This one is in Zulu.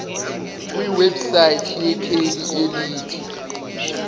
kwiwebsite yekheli elithi